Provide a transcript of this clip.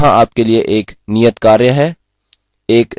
यहाँ आपके लिए एक नियतकार्य है